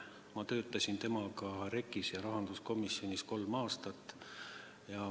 Ma töötasin temaga koos REKK-is ja rahanduskomisjonis kolm aastat.